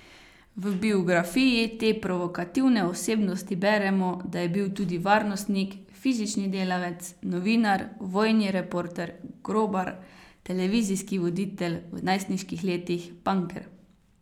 V biografiji te provokativne osebnosti beremo, da je bil tudi varnostnik, fizični delavec, novinar, vojni reporter, grobar, televizijski voditelj, v najstniških letih panker.